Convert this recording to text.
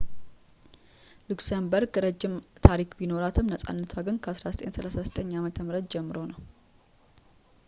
ሉክሰምበርግ ረጅም ታሪክ ቢኖራትም ነፃነቷ ግን ከ 1839 ዓ.ም ጀምሮ ነው